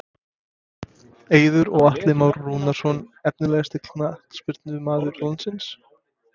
Eiður og Atli Már Rúnarsson Efnilegasti knattspyrnumaður landsins?